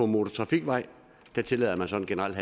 motortrafikvej tillader man så generelt